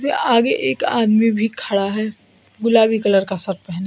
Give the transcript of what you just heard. आगे एक आदमी भी खड़ा है गुलाबी कलर का शर्ट पहने।